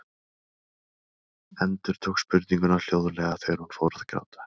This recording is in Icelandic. Endurtók spurninguna hljóðlega þegar hún fór að gráta.